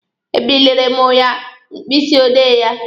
E birile mụ ya mkpịsị odee ya.